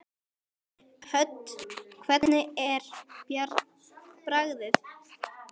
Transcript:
Hödd: Hvernig er bragðið?